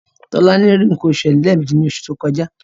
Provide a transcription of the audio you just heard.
Tolani rí nǹkan oṣù rẹ̀ lẹ́ẹ̀meji ní oṣù tó kọjá.